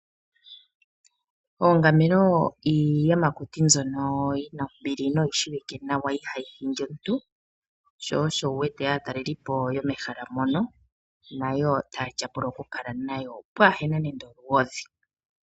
Oongamelo iiyamakuti mbyono yina ombili, noyi shiwike nawa ihayi hindi omuntu , sho osho wu wete aatalelipo yomehala mono nayo taya tyapula oku kala nayo pwaahena nande olugodhi.